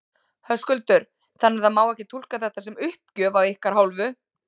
Höskuldur: Þannig það má ekki túlka þetta sem uppgjöf af ykkar hálfu?